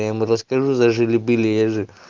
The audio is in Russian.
я ему расскажу за жили были я же